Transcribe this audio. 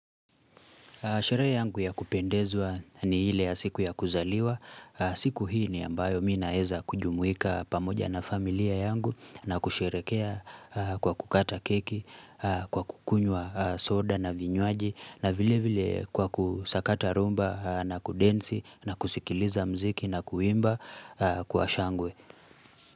Sherehe yangu ya kupendezwa ni ile ya siku ya kuzaliwa. Siku hii ni ambayo mi naeza kujumuika pamoja na familia yangu na kusherekea kwa kukata keki, kwa kukunywa soda na vinywaji na vile vile kwa kusakata rhumba na kudensi na kusikiliza mziki na kuimba kwa shangwe.